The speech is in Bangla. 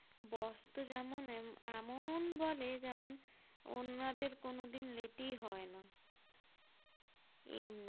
Boss তো যেমন এমন বলে যেমন অন্যদের কোনোদিন late ই হয় না এমনি